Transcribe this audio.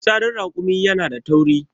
fitsarin rakumi yana da tauri